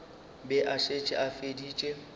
be a šetše a feditše